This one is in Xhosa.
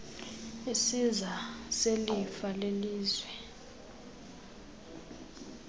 isiza selifa lelizwe